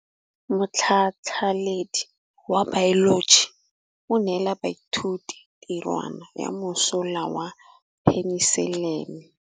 Motlhatlhaledi wa baeloji o neela baithuti tirwana ya mosola wa peniselene.